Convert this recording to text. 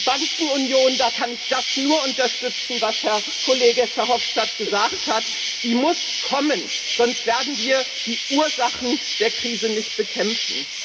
Die Bankenunion da kann ich nur unterstützen, was Herr Kollege Verhofstadt gesagt hat muss kommen, sonst werden wir die Ursachen der Krise nicht bekämpfen.